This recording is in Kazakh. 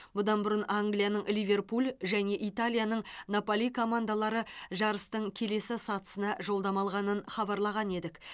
бұдан бұрын англияның ливерпуль және италияның наполи командалары жарыстың келесі сатысына жолдама алғанын хабарлаған едік